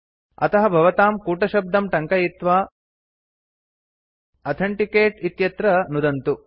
अतः भवतां कूटशब्दं टङ्कयित्वा अथेन्टिकेट् इत्यत्र नुदन्तु